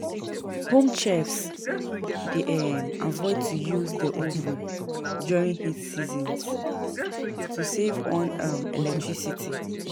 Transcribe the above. Home chefs dey um avoid to use the oven during hot seasons to save on um electricity.